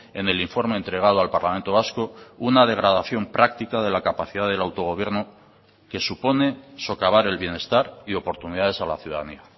en el informe entregado al parlamento vasco una degradación práctica de la capacidad del autogobierno que supone socavar el bienestar y oportunidades a la ciudadanía